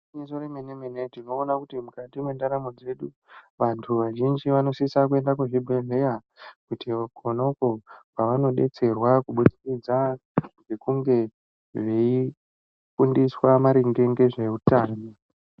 Gwinyiso remene mene tinoona kuti mukati mendaramo dzedu vantu vazhinji vanosisa kuenda kuzvibhedhlera Kuti Kona uko kwavanodetserwa kubudikidza ngekunge veifundiswa maringe ngezvehutano.